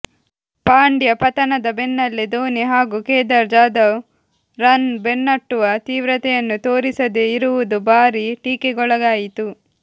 ಪಾಂಡ್ಯ ಪತನದ ಬೆನ್ನಲ್ಲೇ ಧೋನಿ ಹಾಗೂ ಕೇದಾರ್ ಜಾಧವ್ ರನ್ ಬೆನ್ನಟ್ಟುವ ತೀವ್ರತೆಯನ್ನು ತೋರಿಸದೇ ಇರುವುದು ಭಾರೀ ಟೀಕೆಗೊಳಗಾಯಿತು